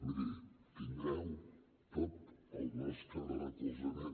miri tindreu tot el nostre recolzament